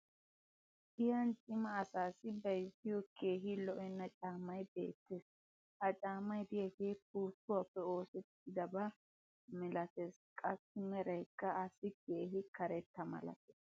Giyan cima asaassi bayzziyo keehi lo'enna caamay beetees. ha caamay diyaagee puuttuwaappe oosettidaba maleteessinne qassi meraykka assi keehi karetta malatees.